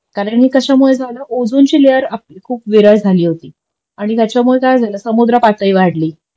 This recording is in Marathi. कारण हे कशामुळे झालं ओझोन ची लेयर आपली खूप विरळ झाली होती आणि ह्यांच्यामुळे काय झालं समुद्र पातळी वाढली